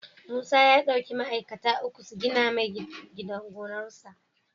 Musa ya dauki ma'aikata uku su gina mai gidan gonar sa